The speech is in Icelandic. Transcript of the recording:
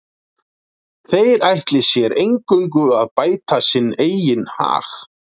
þeir ætli sér eingöngu að bæta sinn eigin hag